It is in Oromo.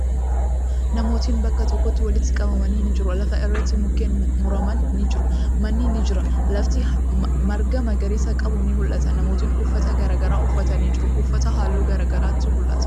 Namootni bakka tokkotti walitti qabamanii ni jiru. Lafa irratti mukkeen muraman ni jiru. Manni ni jira. Lafti marga magariisa qabu ni mul'ata. Namootni uffata garagaraa uffatanii jiru. Uffata haalluu garagaraatu mul'ata.